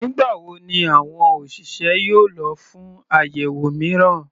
Nígbà wo ni àwọn òṣìṣẹ́ yóò lọ fún àyẹ̀wò mìíràn?